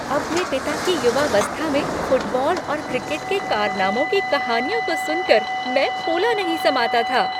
अपने पिता की युवावस्था में फुटबॉल और क्रिकेट के कारनामों की कहानियों को सुनकर मैं फूला नहीं समाता था।